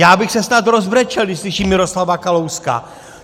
Já bych se snad rozbrečel, když slyším Miroslava Kalouska!